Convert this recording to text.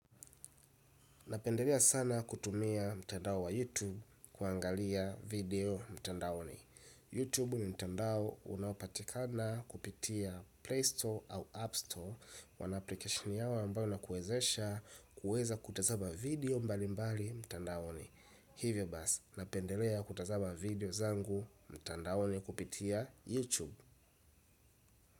Napendelea sana kutumia mtandao wa YouTube kuangalia video mtandaoni YouTube ni mtandao unaopatikana kupitia Play Store au App Store wana application yao ambayo inakuezesha kueza kutazama video mbali mbali mtandaoni hivyo basi, napendelea kutazama video zangu mtandaoni kupitia YouTube.